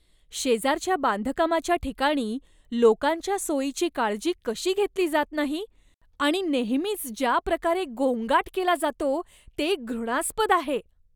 शेजारच्या बांधकामाच्या ठिकाणी लोकांच्या सोयीची काळजी कशी घेतली जात नाही आणि नेहमीच ज्या प्रकारे गोंगाट केला जातो, ते घृणास्पद आहे.